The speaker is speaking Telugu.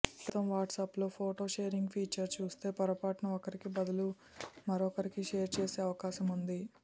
ప్రస్తుతం వాట్సప్లో ఫోటో షేరింగ్ ఫీచర్ చూస్తే పొరపాటున ఒకరికి బదులు మరొకరికి షేర్ చేసే అవకాశముంది